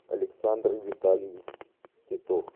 александр витальевич титов